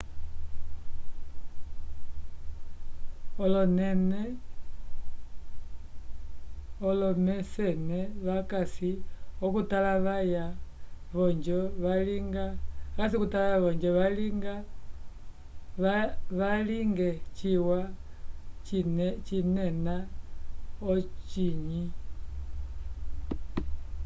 olomecene vacasi okutalavaya ojo valinge cina cinena ocinyi